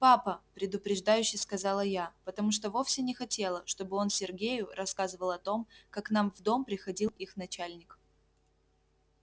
папа предупреждающе сказала я потому что вовсе не хотела чтобы он сергею рассказывал о том как к нам в дом приходил их начальник